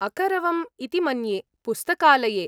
अकरवम् इति मन्ये; पुस्तकालये।